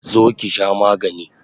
Zo ki sha magani!